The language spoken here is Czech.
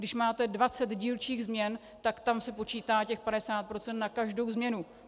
Když máte 20 dílčích změn, tak tam se počítá těch 50 % na každou změnu.